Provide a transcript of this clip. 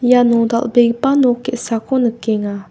iano dal·begipa nok ge·sako nikenga.